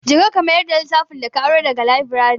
Je ka, ka mayar da littafin da ka aro da ga laburare.